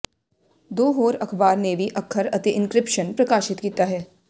ਦੋ ਹੋਰ ਅਖ਼ਬਾਰ ਨੇ ਵੀ ਅੱਖਰ ਅਤੇ ਇੰਕ੍ਰਿਪਸ਼ਨ ਪ੍ਰਕਾਸ਼ਿਤ ਕੀਤਾ ਹੈ